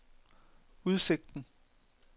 udsigten